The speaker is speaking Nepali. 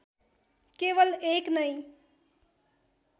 केवल एक नै